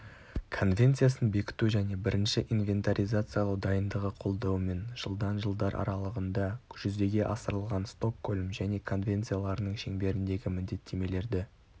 конвенциясын бекіту және бірінші инвентаризациялау дайындығы қолдауымен жылдан жылдар аралығында жүзеге асырылған стокгольм және конвенцияларының шеңберіндегі міндеттемелерді